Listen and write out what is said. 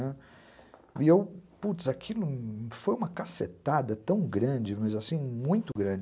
E eu, putz, aquilo foi uma cacetada tão grande, mas assim, muito grande.